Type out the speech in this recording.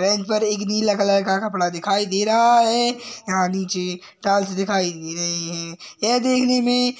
Bench पर एक नीला कलर का कपड़ा दिखाई दे रहा है। यहाँं नीचे टाइल्स दिखाई दे रहे हैं। यह देखने में